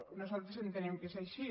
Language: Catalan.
nosaltres entenem que és així